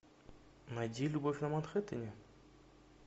найди любовь на манхэттене